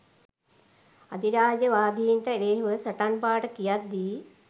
අධිරාජ්‍යවාදීන්ට එරෙහිව සටන් පාඨ කියද්දී